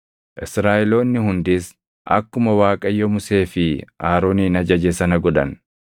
Israaʼeloonni hundis akkuma Waaqayyo Musee fi Aroonin ajaje sana godhan.